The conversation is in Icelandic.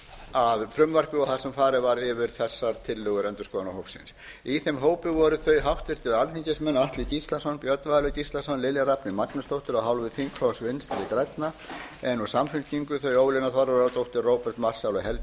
að frumvarpi þar sem farið var yfir þessar tillögur endurskoðunarhópsins í þeim hópi voru þeir háttvirtir alþingismenn alfreð gíslason björn valur gíslason lilja rafney magnúsdóttir af hálfu þingflokks vinstri grænna en úr samfylkingu þau ólína þorvarðardóttir róbert marshall og